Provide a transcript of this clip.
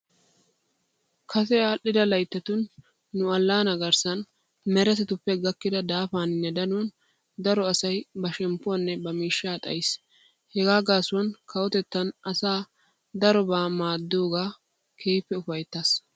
Kase aadhdhida layittatun nu allaanaa garissan meretatuppe gakkida daafaaninne danuwan daro asay ba shemppuwanne ba miishshaa dayiis. Hagaa gaasuwan kawotettan asaa darobaa maaddidoogan keehippe ufayittaas.